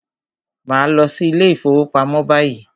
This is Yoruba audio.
Màá lọ sí ilé ìfọwọ́pamo báyìí!